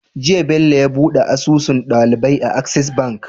Jiya Bello yabuɗe asusun ɗalibai a access bank